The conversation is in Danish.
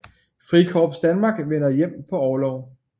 Frikorps Danmark vender hjem på orlov